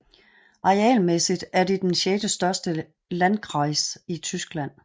Arealmæssigt er det den sjettestørste landkreis i Tyskland